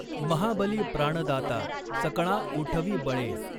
महाबली प्राणदाता सकळां ऊठवी बळें।